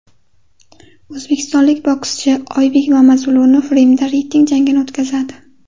O‘zbekistonlik bokschi Oybek Mamazulunov Rimda reyting jangini o‘tkazadi.